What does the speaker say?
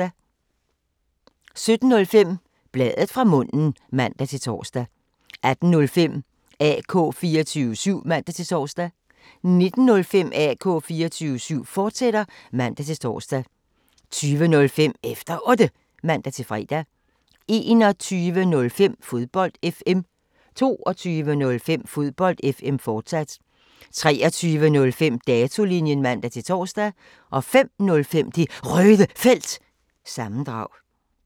17:05: Bladet fra munden (man-tor) 18:05: AK 24syv (man-tor) 19:05: AK 24syv, fortsat (man-tor) 20:05: Efter Otte (man-fre) 21:05: Fodbold FM 22:05: Fodbold FM, fortsat 23:05: Datolinjen (man-tor) 05:05: Det Røde Felt – sammendrag